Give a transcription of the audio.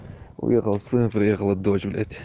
уехал сын приехала дочь блять